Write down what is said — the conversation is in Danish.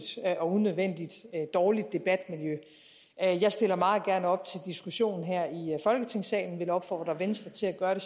og unødvendig dårligt debatmiljø jeg stiller meget gerne op til diskussion her i folketingssalen og vil opfordre venstre